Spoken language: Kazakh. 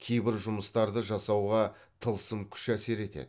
кейбір жұмыстарды жасауға тылсым күш әсер етеді